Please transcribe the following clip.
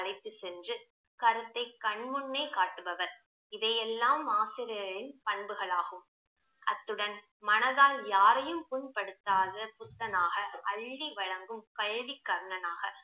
அழைத்துச் சென்று கருத்தை கண்முன்னே காட்டுபவர் இவையெல்லாம் ஆசிரியரின் பண்புகளாகும் அத்துடன் மனதால் யாரையும் புண்படுத்தாத புத்தனாக, அள்ளி வழங்கும் கல்வி கர்ணனாக